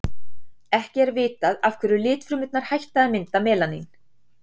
Ekki er vitað af hverju litfrumurnar hætta að mynda melanín.